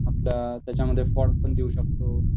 आपण त्याच्यामध्ये फॉन्ट पण देऊ शकतो